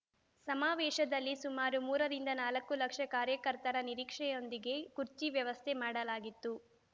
ಸಮಾವೇಶದಲ್ಲಿ ಸುಮಾರು ಮೂರರಿಂದ ನಾಲ್ಕು ಲಕ್ಷ ಕಾರ್ಯಕರ್ತರ ನಿರೀಕ್ಷೆಯೊಂದಿಗೆ ಕುರ್ಚಿ ವ್ಯವಸ್ಥೆ ಮಾಡಲಾಗಿತ್ತು